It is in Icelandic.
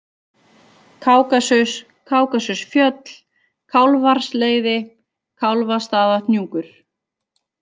Kákasus, Kákasusfjöll, Kálfarsleiði, Kálfastaðahnjúkur